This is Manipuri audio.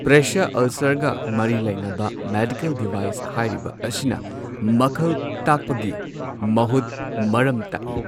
ꯄ꯭ꯔꯦꯁꯔ ꯑꯜꯁꯔꯒ ꯃꯔꯤ ꯂꯩꯅꯕ ꯃꯦꯗꯤꯀꯦꯜ ꯗꯤꯚꯥꯢꯁ ꯍꯥꯢꯔꯤꯕ ꯑꯁꯤꯅ ꯃꯈꯜ ꯇꯥꯛꯄꯒꯤ ꯃꯍꯨꯠ ꯃꯔꯝ ꯇꯥꯛꯢ꯫